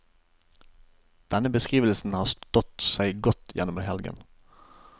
Denne beskrivelsen har stått seg godt gjennom helgen.